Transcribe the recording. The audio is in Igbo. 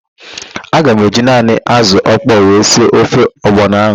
Aga m eji naanị ázụ̀ ọkpọọ wee sie ofe ọgbọnọ ahụ.